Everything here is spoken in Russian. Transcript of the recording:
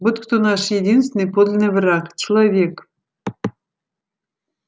вот кто наш единственный подлинный враг человек